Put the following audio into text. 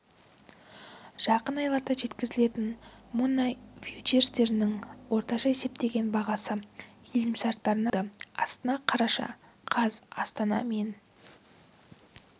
жақын айларда жеткізілетін мұнай фьючерстерінің орташа есептеген бағасы келісімшартына барр болды астана қараша қаз астана мен